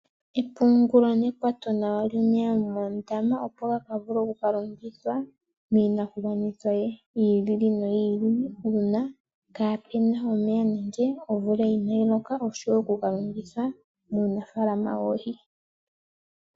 Epungulo nekwato nawa lyomeya moondama, opo gaka vule oku ka longithwa miinakugwanithwa yiili noyiili uuna kaapena omeya nenge omvula ina yi loka, osho wo okuga longitha muunafaalama woohi.